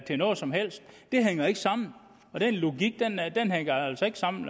til noget som helst det hænger ikke sammen den logik hænger altså ikke sammen